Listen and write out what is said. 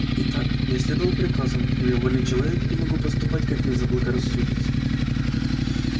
итак я следовал приказам но я вольный человек и могу поступать как мне заблагорассудится